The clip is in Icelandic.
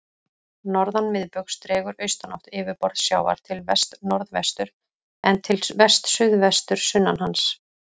Norðan miðbaugs dregur austanátt yfirborð sjávar til vestnorðvesturs, en til vestsuðvesturs sunnan hans.